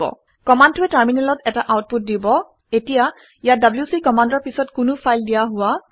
কমাণ্ডটোৱে টাৰমিনেলত এটা আউটপুট দিব এতিয়া ইয়াত ডব্লিউচি কমাণ্ডৰ পিছত কোনো ফাইল দিয়া হোৱা নাই